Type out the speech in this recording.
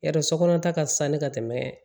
Yarɔ sokɔnɔ ta ka fisa ni ka tɛmɛ